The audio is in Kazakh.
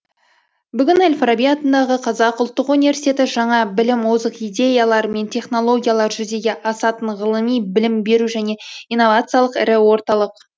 бүгін әл фараби атындағы қазақ ұлттық университеті жаңа білім озық идеялар мен технологиялар жүзеге асатын ғылыми білім беру және инновациялық ірі орталық